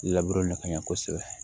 le ka ɲɛ kosɛbɛ